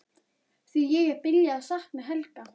Því ég er byrjuð að sakna Helga.